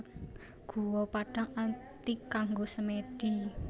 Guwa Padang Ati kanggo semèdi